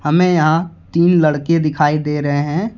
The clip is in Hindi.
हमें यहां तीन लड़के दिखाई दे रहे हैं।